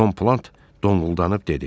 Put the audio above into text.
Tom Plant donquldanıb dedi.